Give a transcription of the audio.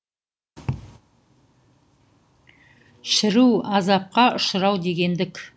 шіру азапқа ұшырау дегендік